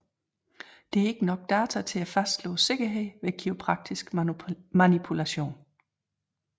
Der er ikke nok data til at fastslå sikkerheden ved kiropraktisk manipulation